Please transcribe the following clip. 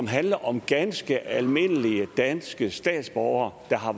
handler om ganske almindelige danske statsborgere der har